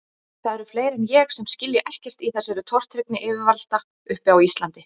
Það eru fleiri en ég sem skilja ekkert í þessari tortryggni yfirvalda uppi á Íslandi.